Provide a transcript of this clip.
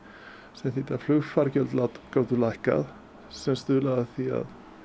sem þýddi að flugfargjöld gátu lækkað sem stuðlaði að því